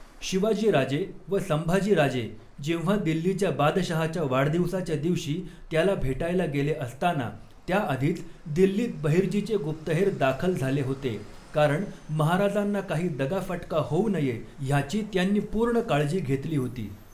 शिवाजी राजे व संभाजी राजे जेव्हा दिल्लीच्या बादशहाच्या वाढदिवसाच्या दिवशी त्याला भेटायला गेले असताना त्याआधीच दिल्लीत बहिर्जीचे गुप्तहेर दाखल झाले होते कारण महाराजांना काही दगा फ़टका होऊ नये ह्याची त्यांनी पूर्ण काळजी घेतली होती.